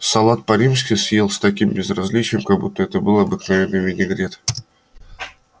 салат по-римски съел с таким безразличием как будто это был обыкновенный винегрет